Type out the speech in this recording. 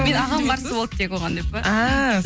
менің ағам қарсы болды тек оған деп па ааа